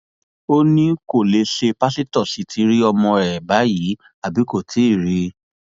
ó ní kó lè ṣe pásítọ sí ti rí ọmọ ẹ báyìí àbí kó tí ì rí i